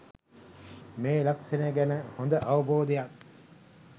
මේ ලක්‍ෂණය ගැන හොඳ අවබෝධයක්